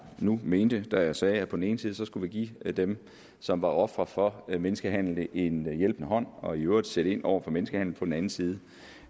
nu mente da jeg sagde at på den ene side skulle vi give dem som var ofre for menneskehandel en hjælpende hånd og i øvrigt sætte ind over for menneskehandel på den anden side